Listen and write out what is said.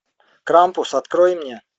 крампус открой мне